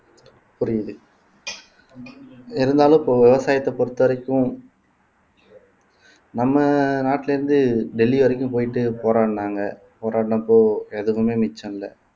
புரியுது இருந்தாலும் இப்ப விவசாயத்தை பொறுத்தவரைக்கும் நம்ம நாட்டுல இருந்து டெல்லி வரைக்கும் போயிட்டு போராடுனாங்க போராடுனப்போ எதுமே மிச்சம் இல்ல